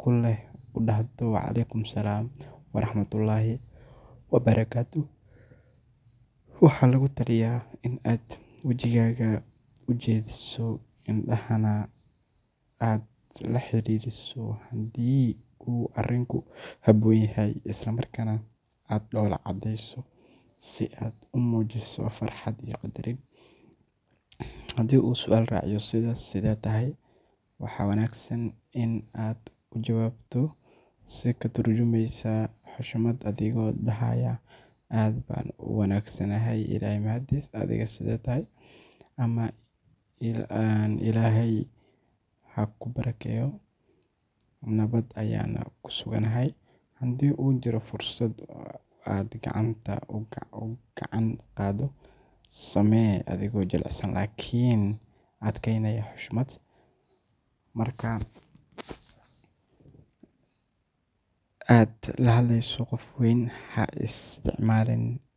ku leh u dhahdo “Wa caleykum salaam waraxmatullaahi wabarakaatuh.” Waxaa lagu taliyaa in aad wejigaaga u jeediso, indhahana aad la xiriiriso haddii uu arrinku habboon yahay, isla markaana aad dhoola caddeyso si aad muujiso farxad iyo qadarin. Haddii uu su’aal raaciyo sida “Sidee tahay?” waxaa wanaagsan in aad ugu jawaabto si ka turjumeysa xushmad, adigoo dhahaaya “Aad baan u wanaagsanahay, Ilaahay mahadiis, adigana sidee tahay?” ama “Ilaahay ha kuu barakeeyo, nabad ayaana ku suganahay.” Hadduu jiro fursad aad gacanta u gacan qaaddo, samee adigoo jilicsan laakiin adkaynaya xushmadda. Marka aad la hadleyso qof weyn, ha isticmaalin.